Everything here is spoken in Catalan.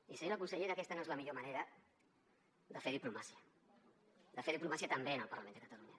i senyora consellera aquesta no és la millor manera de fer diplomàtica de fer diplomàcia també en el parlament de catalunya